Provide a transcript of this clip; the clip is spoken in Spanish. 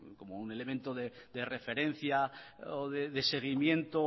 como un elemento de referencia o de seguimiento